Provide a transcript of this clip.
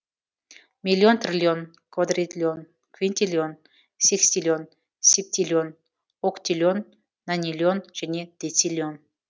миллион триллион квадритлион квинтиллион секстиллион септиллион октиллион нониллион және дециллион